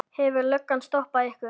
Hefur löggan stoppað ykkur?